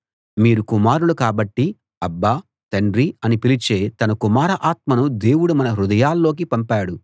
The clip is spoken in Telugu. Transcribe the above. మీరు కుమారులు కాబట్టి అబ్బా తండ్రీ అని పిలిచే తన కుమార ఆత్మను దేవుడు మన హృదయాల్లోకి పంపాడు